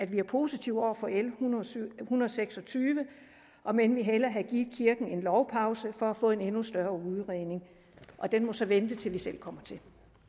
vi er positive over for l en hundrede og seks og tyve om end vi hellere havde givet kirken en lovpause for at få en endnu større udredning og den må så vente til vi selv kommer til